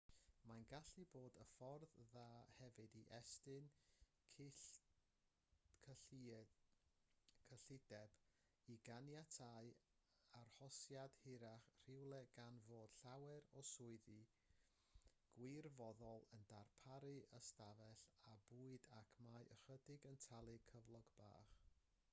mae'n gallu bod yn ffordd dda hefyd i estyn cyllideb i ganiatáu arhosiad hirach rhywle gan fod llawer o swyddi gwirfoddol yn darparu ystafell a bwyd ac mae ychydig yn talu cyflog bach